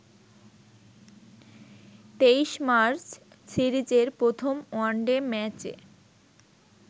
২৩ March সিরিজের প্রথম one day ম্যাচে